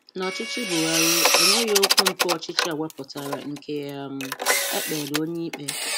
N’ọchịchị Bùhàrì, enweghi okwu mpụ ọ̀chịchị a wepụtara nke um e kpeela onye ikpe.